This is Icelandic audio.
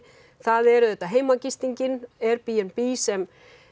það er auðvitað Airbnb sem